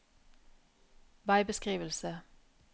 veibeskrivelse